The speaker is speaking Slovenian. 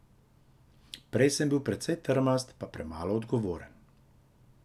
Prej sem bil precej trmast pa premalo odgovoren.